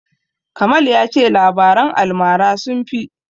Kamal ya ce labaran almara sun fi.